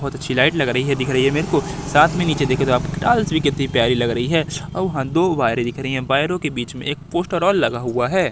बहुत अच्छी लाइट लग रही है दिख रही है मेरे को साथ में नीचे देखे तो आप टाल्स भी कितनी प्यारी लग रही है और वहां दो वायरे दिख रही हैं वायरो के बीच में एक पोस्टर और लगा हुआ है।